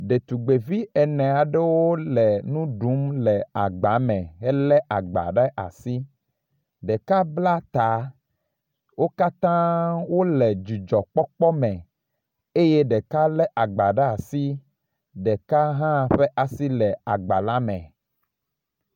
Ɖetugbevi ene aɖewo le nu ɖum le agba me helé agba ɖe asi, ɖeka bla ta, wo katãa wole dzidzɔkpɔkpɔ me eye ɖeka lé agba ɖe asi eye ɖeka hã ƒe asi le agba la me.